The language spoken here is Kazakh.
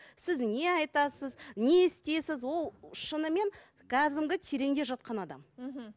сіз не айтасыз не істейсіз ол шынымен кәдімгі тереңде жатқан адам мхм